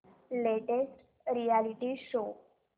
latest reality show